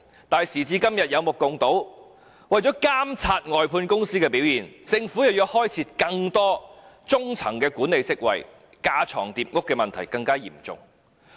可是，時至今日，大家有目共睹，為了監察外判公司的表現，政府卻要開設更多中層管理職位，架床疊屋的問題更為嚴重。